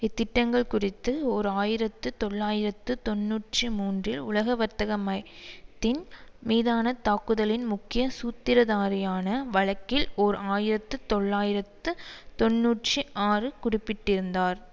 இத்திட்டங்கள் குறித்து ஓர் ஆயிரத்து தொள்ளாயிரத்து தொன்னூற்றி மூன்று உலகவர்த்தக மை த்தின் மீதான தாக்குதலின் முக்கிய சூத்திரதாரியான வழக்கில் ஓர் ஆயிரத்து தொள்ளாயிரத்து தொன்னூற்றி ஆறு குடிப்பிட்டிருந்தார்